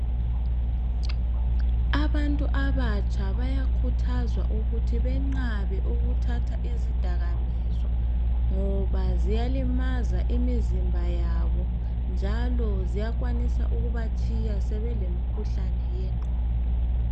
Abantu abatsha bayakhuthazwa ukuthi benqabe ukuthatha izidakamizwa, ngoba ziyalimaza imizimba yabo, njalo ziyakwanisa ukubatshiya sebelemikhuhlane yengqondo.